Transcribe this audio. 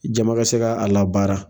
Jama ka se ka a labara.